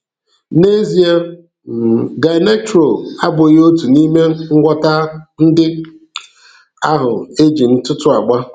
N'ezie, um Gynectrol abụghị otu n'ime ngwọta ndị ahụ e ji ntụ́tụ agba.